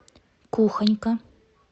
кухонька